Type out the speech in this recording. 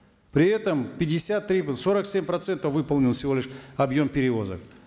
при этом пятьдесят три сорок семь процентов выполнен всего лишь объем перевозок